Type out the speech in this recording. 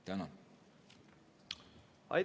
Tänan!